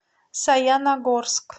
саяногорск